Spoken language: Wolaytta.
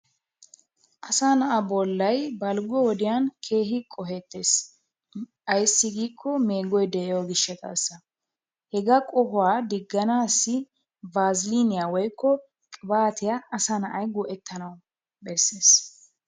Asaa na"aa bollay balggo wodiyan keehi qohettes. Ayissi giiko meegoy de"iyoo gishshataassa. Hegaa qohuwaa digganaassi baaziliiniya woyikko qibaatiya asaa na"ay go"ettanawu besses.